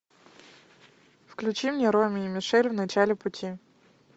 включи мне роми и мишель в начале пути